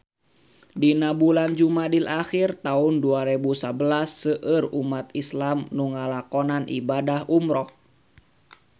Dina bulan Jumadil ahir taun dua rebu sabelas seueur umat islam nu ngalakonan ibadah umrah